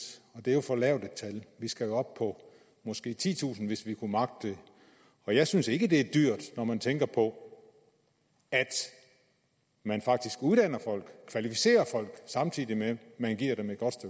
og det er jo for lavt et tal vi skal op på måske titusind hvis vi kunne magte det og jeg synes ikke det er dyrt når man tænker på at man faktisk uddanner folk kvalificerer folk samtidig med at man giver dem et godt